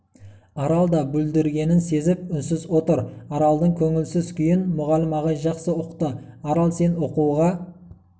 арал да бүлдіргенін сезіп үнсіз отыр аралдың көңілсіз күйін мүғалім ағай жақсы ұқты арал сен оқуға